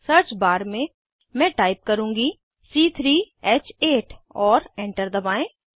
search bar में मैं type करुँगी c3ह8 और एंटर दबाएं